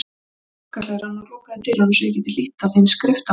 Opnaðu þá gluggahlerann og lokaðu dyrunum svo ég geti hlýtt á þín skriftamál.